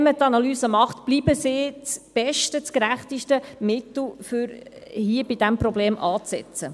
Wenn man das Ganze analysiert, bleibt dies das beste, gerechteste Mittel, um bei diesem Problem anzusetzen.